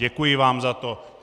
Děkuji vám za to.